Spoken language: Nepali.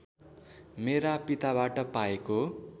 मेरा पिताबाट पाएको